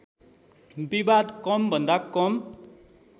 विवाद कमभन्दा कम